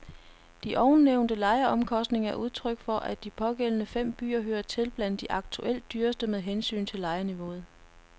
De ovennævnte lejeomkostninger er udtryk for, at de pågældende fem byer hører til blandt de aktuelt dyreste med hensyn til lejeniveau.